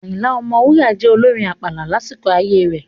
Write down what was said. Ayinla Omowura jẹ́ olorin àpàlà lásìkò ayé rẹ̀.